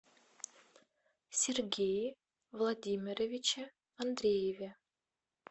сергее владимировиче андрееве